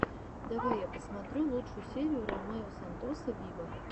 давай я посмотрю лучшую серию ромео сантоса виво